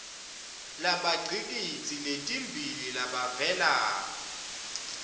labatigidzi letimbili labavela